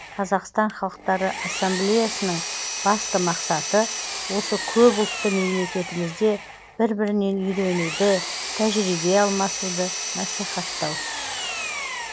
қазақстан халықтары ассамблеясының басты мақсаты осы көпұлтты мемлекетімізде бір бірінен үйренуді тәжірибе алмасуды насихаттау